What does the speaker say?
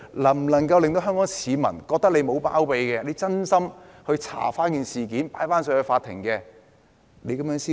能否令香港市民覺得她沒有包庇，是真心調查事件，將會提交法庭？